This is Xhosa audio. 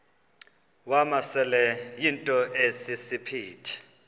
wamasele yinto esisiphithi